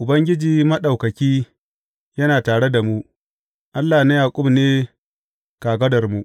Ubangiji Maɗaukaki yana tare da mu; Allah na Yaƙub ne kagararmu.